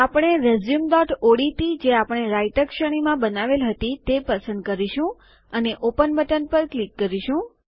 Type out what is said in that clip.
આપણે રેઝ્યુમઓડીટી જે આપણે રાઈતર શ્રેણીમાં બનાવેલ હતી તે પસંદ કરીશું અને ઓપન બટન પર ક્લિક કરીશું